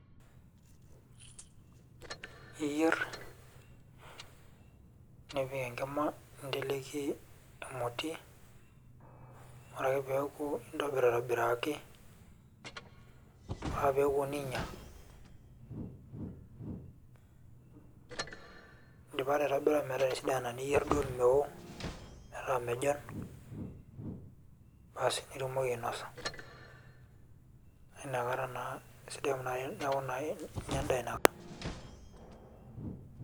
Eyierr nipik enkima ninteleiki emoti ore ake pee eeku ingil aitobiraki ore ake pee iko nijia indipa taa aitobira metisidana niyierr duo meoo iropija basi nitumoki ainosa amu inakata naa sidai amu neeku naa inya endaa naaoo.